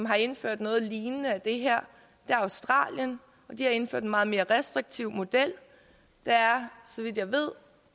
har indført noget lignende det her er australien og de har indført en meget mere restriktiv model der er så vidt jeg ved